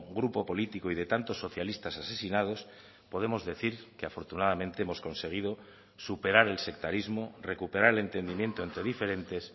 grupo político y de tantos socialistas asesinados podemos decir que afortunadamente hemos conseguido superar el sectarismo recuperar el entendimiento entre diferentes